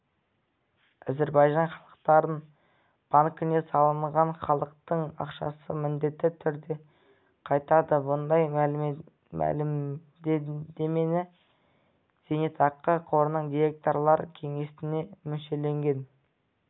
әзірбайжан халықаралық банкіне салынған халықтың ақшасы міндетті түрде қайтады бұндай мәлімдемені зейнетақы қорының директорлар кеңесінің мүшелігіне